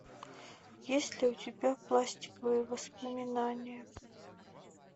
есть ли у тебя пластиковые воспоминания